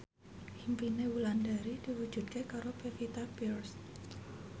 impine Wulandari diwujudke karo Pevita Pearce